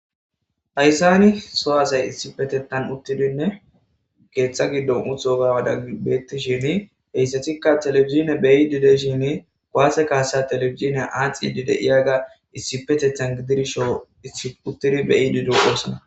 Haysan so asati issipetethan utidinne keetha gidon utiga mala betishenne heysatika television beyishe , kuwase kasa television athid diyaga issippeetan shiiqi utid issippe gidid beyid dosona